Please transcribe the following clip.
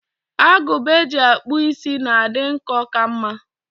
Agụba eji akpụ is na-adị nkọ ka mma.